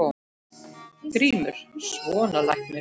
GRÍMUR: Svona læknir.